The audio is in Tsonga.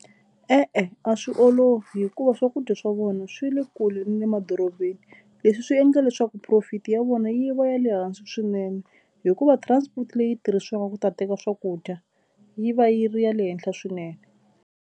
E-e, a swi olovi hikuva swakudya swa vona swi le kule na le madorobeni. Leswi swi endla leswaku profit ya vona yi va ya le hansi swinene hikuva transport leyi tirhisiwaka ku ta teka swakudya yi va yi ri ya le henhla swinene.